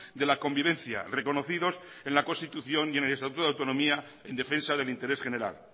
de la convivencia reconocidos en la constitución y en el estatuto de autonomía en defensa del interés general